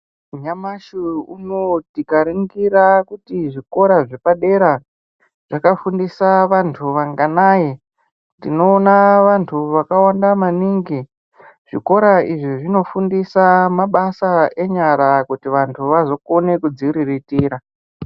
Nyamashi unowu tikaringira kuti zvikora zvepadera zvakafundisa vantu vanganai, tinoona vantu vakawanda maningi. Zvikora izvi zvinofundisa mabasa enyara kuti vantu vazokona kudziriritira.